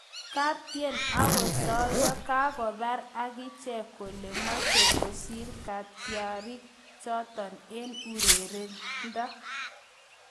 Kaptien ak kosoiyo kokakobor akichek kole mechei kosir katyarik chotok eng urerindo